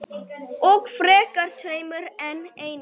Og frekar tveimur en einum.